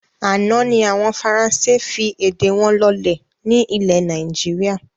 Àná ni àwọn Faransé fi èdè wọn lọ́lẹ̀ ni ilẹ̀ Nàìjíríà